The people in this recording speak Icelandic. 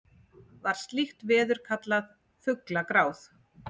var slíkt veður kallað fuglagráð